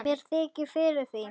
Mér þykir fyrir því.